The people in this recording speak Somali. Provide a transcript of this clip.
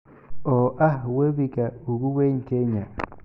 oo ah webiga ugu weyn Kenya